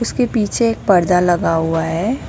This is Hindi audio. के पीछे एक पर्दा लगा हुआ है।